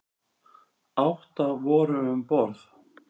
Átta voru um borð.